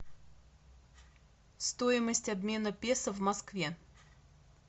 стоимость обмена песо в москве